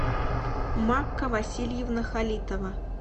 макка васильевна халитова